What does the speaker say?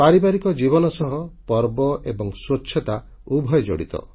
ପାରିବାରିକ ଜୀବନ ସହ ପର୍ବ ଏବଂ ସ୍ୱଚ୍ଛତା ଉଭୟ ଜଡ଼ିତ